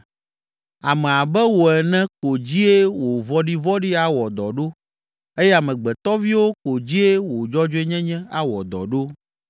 Ame abe wò ene ko dzie wò vɔ̃ɖivɔ̃ɖi awɔ dɔ ɖo eye amegbetɔviwo ko dzie wò dzɔdzɔenyenye awɔ dɔ ɖo.